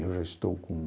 Eu já estou com